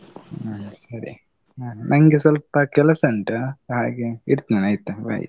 ಹ ಸರಿ, ನಂಗೆ ಸ್ವಲ್ಪ ಕೆಲಸ ಉಂಟು ಹಾಗೆ, ಇಡ್ತೆನಾಯ್ತ bye .